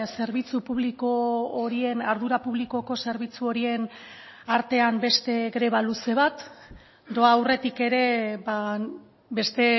zerbitzu publiko horien ardura publikoko zerbitzu horien artean beste greba luze bat doa aurretik ere beste